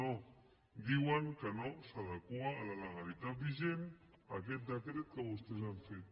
no diuen que no s’adequa a la legalitat vigent aquest decret que vostès han fet